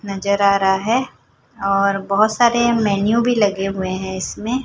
नजर आ रहा है और बहोत सारे मेनू भी लगे हुए हैं इसमें।